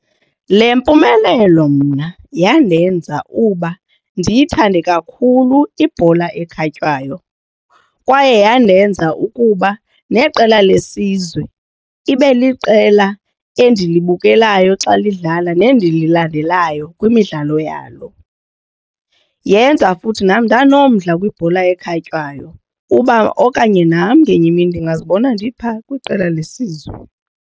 Le mpumelelo mna yandenza uba ndiyithande kakhulu ibhola ekhatywayo kwaye yandenza ukuba neqela lesizwe ibe liqela endilibukelayo xa lidlala nendililandelayo kwimidlalo yalo. Yenza futhi nam ndanomdla kwibhola ekhatywayo uba okanye nam ngenye imini ndingazibona ndipha kwiqela lesizwe.